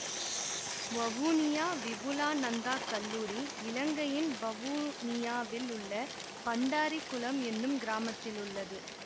வவுனியா விபுலாநந்தா கல்லூரி இலங்கையின் வவுனியாவில் உள்ள பண்டாரிகுளம் என்னும் கிராமத்தில் உள்ளது